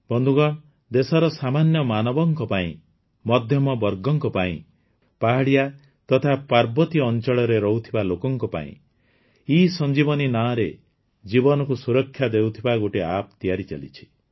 ସାଥୀଗଣ ଦେଶର ସାମାନ୍ୟ ମାନବଙ୍କ ପାଇଁ ମଧ୍ୟମବର୍ଗଙ୍କ ପାଇଁ ପାହାଡ଼ିଆ ତଥା ପାର୍ବତୀୟ ଅଂଚଳରେ ରହୁଥିବା ଲୋକମାନଙ୍କ ପାଇଁ ଏସଞ୍ଜୀଭନି ନାଁରେ ଜୀବନକୁ ସୁରକ୍ଷା ଦେଉଥିବା ଗୋଟିଏ App ତିଆରି ଚାଲିଛି